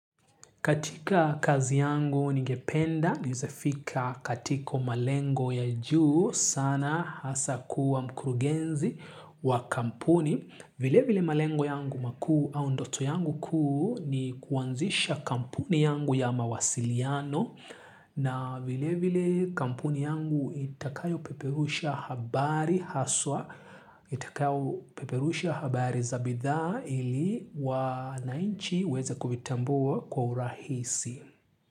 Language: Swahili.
Katika kazi yangu ningependa, niezefika katika malengo ya juu sana hasa kuwa mkurugenzi wa kampuni. Vile vile malengo yangu makuu au ndoto yangu kuu ni kuanzisha kampuni yangu ya mawasiliano na vile vile kampuni yangu itakayo peperusha habari haswa. Itakayo peperusha habari za bidhaa ili wanainchi weze kuvitambua kwa urahisi.